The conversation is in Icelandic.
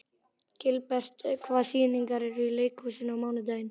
Gilbert, hvaða sýningar eru í leikhúsinu á mánudaginn?